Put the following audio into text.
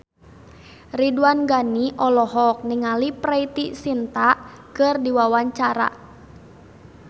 Ridwan Ghani olohok ningali Preity Zinta keur diwawancara